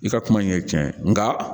I ka kuma in ye tiɲɛ ye nka